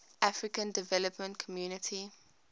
african development community